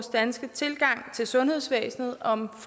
danske tilgang til sundhedsvæsenet om